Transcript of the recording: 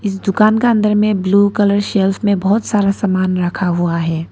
दुकान का अंदर में ब्लू कलर शेल्फ्स में बहुत सारा सामान रखा हुआ है।